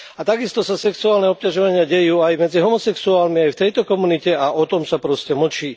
A takisto sa sexuálne obťažovanie deje aj medzi homosexuálmi, aj v tejto komunite, a o tom sa proste mlčí.